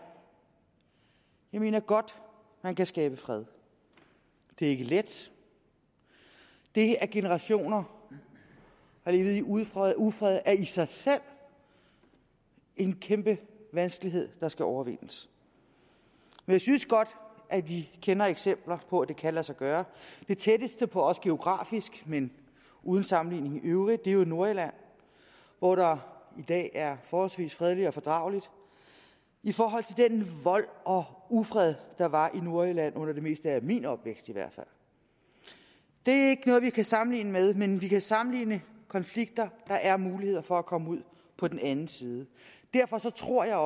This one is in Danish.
jeg mener godt man kan skabe fred det er ikke let det at generationer har levet i ufred ufred er i sig selv en kæmpe vanskelighed der skal overvindes jeg synes at vi kender eksempler på at det kan lade sig gøre det tætteste på os geografisk men uden sammenligning i øvrigt er jo nordirland hvor der i dag er forholdsvis fredeligt og fordrageligt i forhold til den vold og ufred der var i nordirland under det meste af min opvækst i hvert fald det er ikke noget vi kan sammenligne med men vi kan sammenligne konflikter der er muligheder for at komme ud på den anden side derfor tror jeg